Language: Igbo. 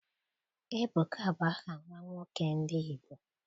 Ebuka bụ aha nwa nwoke ndị Igbo.